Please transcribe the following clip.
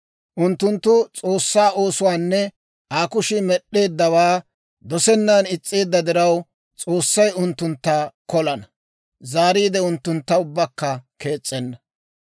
Unttunttu S'oossaa oosuwaanne Aa kushii med'd'eeddawaa dosennan is's'eedda diraw, S'oossay unttuntta kolana; zaariide unttuntta ubbakka kees's'enna.